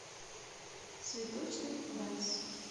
цветочный вальс